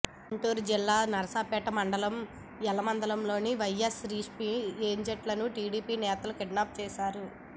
గుంటూరు జిల్లా నరసరావుపేట మండలం యల్లమందలో వైఎస్సార్సీపీ ఏజెంట్లను టీడీపీ నేతలు కిడ్నాప్ చేశారు